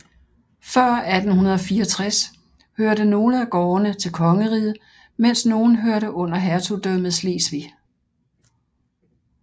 Før 1864 hørte nogle af gårdene til kongeriget mens nogle hørte under hertugdømmet Slesvig